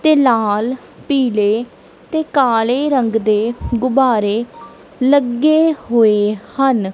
ਤੇ ਲਾਲ ਪੀਲੇ ਤੇ ਕਾਲੇ ਰੰਗ ਦੇ ਗੁੱਬਾਰੇ ਲੱਗੇ ਹੋਏ ਹਨ।